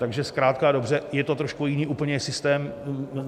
Takže zkrátka a dobře, je to trošku úplně jiný systém.